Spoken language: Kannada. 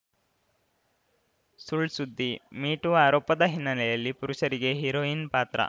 ಸುಳ್‌ ಸುದ್ದಿ ಮೀ ಟೂ ಆರೋಪದ ಹಿನ್ನೆಲೆಯಲ್ಲಿ ಪುರುಷರಿಗೇ ಹೀರೋಯಿನ್‌ ಪಾತ್ರ